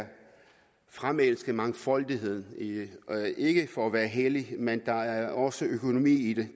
fremelske mangfoldighed ikke for at være hellige men der er også økonomi i det